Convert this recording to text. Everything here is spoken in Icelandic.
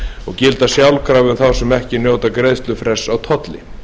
og gilda sjálfkrafa um þá sem njóta greiðslufrests á tolli